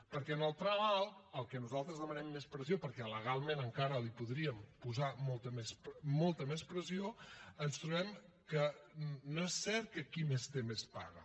perquè en el tram alt al qual nosaltres demanem més pressió perquè legalment encara li podríem posar molta més pressió ens trobem que no és cert que qui més té més paga